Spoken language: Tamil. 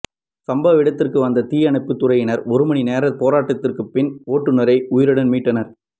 சம்பவ இடத்திற்கு வந்த தீயணைப்புத்துறையினர் ஒரு மணி நேர போராட்டத்திற்குப் பின் ஓட்டுனரை உயிருடன் மீட்டனர்